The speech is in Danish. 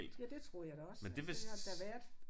Ja det troede jeg da også altså det har det da været